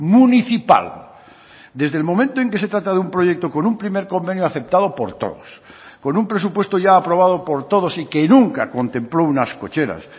municipal desde el momento en que se trata de un proyecto con un primer convenio aceptado por todos con un presupuesto ya aprobado por todos y que nunca contempló unas cocheras